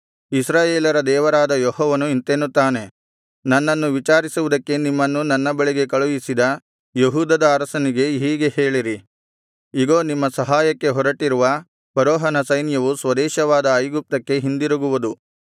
ಇಸ್ರಾಯೇಲರ ದೇವರಾದ ಯೆಹೋವನು ಇಂತೆನ್ನುತ್ತಾನೆ ನನ್ನನ್ನು ವಿಚಾರಿಸುವುದಕ್ಕೆ ನಿಮ್ಮನ್ನು ನನ್ನ ಬಳಿಗೆ ಕಳುಹಿಸಿದ ಯೆಹೂದದ ಅರಸನಿಗೆ ಹೀಗೆ ಹೇಳಿರಿ ಇಗೋ ನಿಮ್ಮ ಸಹಾಯಕ್ಕೆ ಹೊರಟಿರುವ ಫರೋಹನ ಸೈನ್ಯವು ಸ್ವದೇಶವಾದ ಐಗುಪ್ತಕ್ಕೆ ಹಿಂದಿರುಗುವುದು